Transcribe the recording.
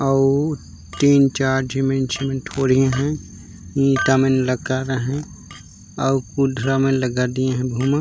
और तीन चार जिमीन जिमीन ठोड़िए है। ईटा मे लगा रहे और कुंद्रा में लगा दिए है भूमा--